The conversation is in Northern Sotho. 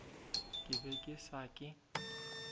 ke be ke sa ke